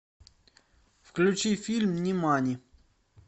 включи фильм нимани